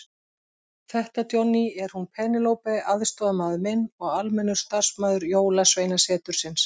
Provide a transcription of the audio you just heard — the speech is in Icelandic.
Þetta Johnny, er hún Penélope aðstoðarmaður minn og almennur starfsmaður Jólasveinasetursins.